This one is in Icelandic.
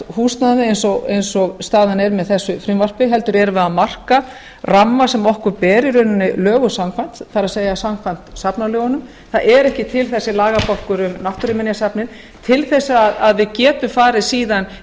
húsnæðið eins og staðan er með þessu frumvarpi heldur erum við að marka ramma sem okkur ber í rauninni lögum samkvæmt það er samkvæmt safnalögunum það er ekki til þessi lagabálkur um náttúruminjasafnið til þess að við getum farið síðan í